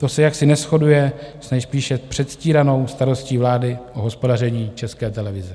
To se jaksi neshoduje s nejspíše předstíranou starostí vlády o hospodaření České televize.